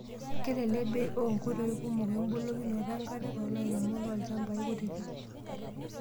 Kelelek bei oo nkoitoi kumok embukokinoto enkare too lairemok loolchambai kutitik.